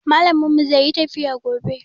Malamin mu zai yi tafiya gobe